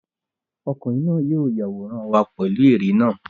Ọkùnrin náà yóò yàwórán wa pẹ̀lú ère náà.